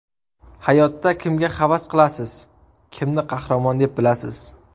Hayotda kimga havas qilasiz, kimni qahramon deb bilasiz?